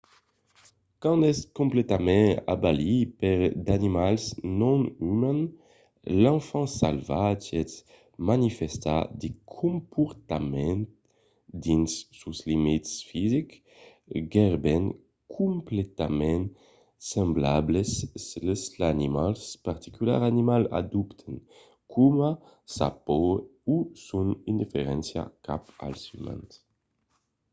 quand es completament abalit per d’animals non umans l’enfant salvatge manifèsta de comportaments dins sos limits fisics gaireben completament semblables sls de l’animal particular animal adoptant coma sa paur o son indiferéncia cap als umans